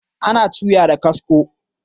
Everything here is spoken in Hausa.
Ana tuya da kasko